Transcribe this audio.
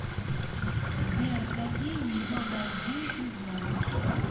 сбер какие йодандин ты знаешь